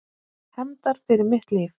Hefndar fyrir mitt líf.